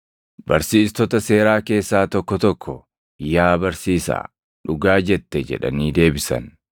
Barsiistota seeraa keessaa tokko tokko, “Yaa Barsiisaa, dhugaa jette!” jedhanii deebisan.